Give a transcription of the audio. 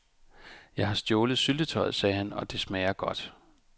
Jeg har stjålet syltetøjet, sagde han, og det smager godt.